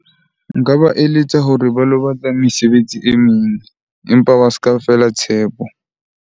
Nka ba eletsa hore ba lo batla mesebetsi e meng, empa ba se ka fela tshepo.